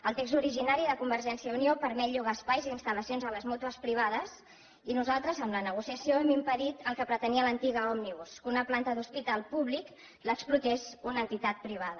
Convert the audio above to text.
el text originari de convergència i unió permet llogar espais i instal·lacions a les mútues privades i nosaltres amb la negociació hem impedit el que pretenia l’antiga òmnibus que una planta d’hospital públic l’explotés una entitat privada